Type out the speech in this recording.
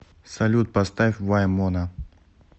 салют поставь вай мона